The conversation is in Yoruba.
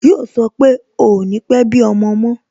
Yo sọ pé "ò ní pe bí ọmọ mo